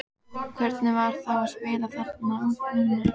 Hvernig var þá að spila þarna núna?